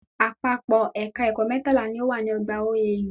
Àpapọ̀ Ẹ̀ka ẹ̀kọ́ mẹ́tàlá ni o wà ní ọgbà OAU